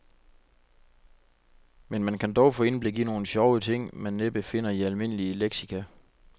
Men man kan dog få indblik i nogle sjove ting, man næppe finder i almindelige leksika.